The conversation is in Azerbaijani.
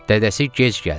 Dədəsi gec gəldi.